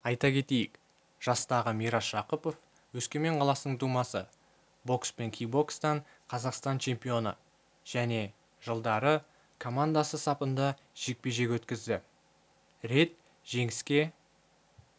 айта кетейік жастағы мирас жақыпов өскемен қаласының тумасы бокс пен кикбокстан қазақстан чемпионы және жылдары командасы сапында жекпе-жек өткізді рет жеңіске